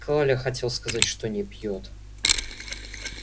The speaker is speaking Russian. коля хотел сказать что не пьёт